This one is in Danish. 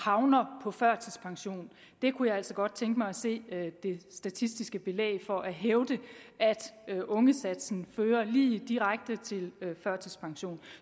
havner på førtidspension jeg kunne altså godt tænke mig at se det statistiske belæg for at hævde at ungesatsen fører lige direkte til førtidspension